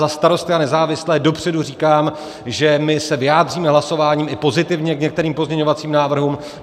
Za Starosty a nezávislé dopředu říkám, že my se vyjádříme hlasováním i pozitivně k některým pozměňovacím návrhům.